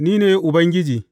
Ni ne Ubangiji.